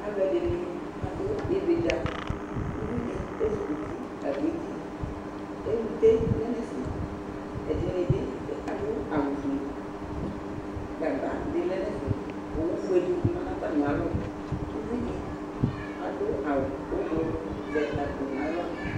Alʋ ɛdini adʋ ividza Uvi di ezukuti kagbɔ eti Ɛlute lɛ nʋ ɛfɛ Ɛdini bi adʋ awʋ fue Gagba di lɛ nʋ ɛfɛ Owu fue di ma nʋ atami alɔ Uvi di adʋ awʋ ʋblʋɔ zɛ akpo n'aɣla